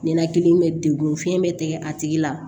Ninakili bɛ degun fiyɛn bɛ tɛgɛ a tigi la